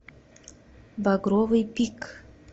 багровый пик